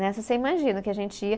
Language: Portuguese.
Nessa, você imagina o que a gente ia.